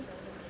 Və yox.